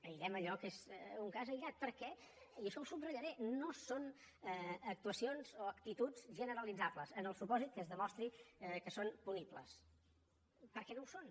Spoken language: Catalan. aïllem allò que és un cas aïllat perquè i això ho subratllaré no són actuacions o actituds generalitzables en el supòsit que es demostri que són punibles perquè no ho són